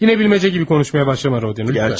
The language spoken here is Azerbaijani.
Yine bilmece gibi konuşmaya başlama, lütfen.